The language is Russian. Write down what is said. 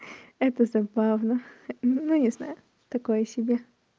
это забавно ну не знаю такое себе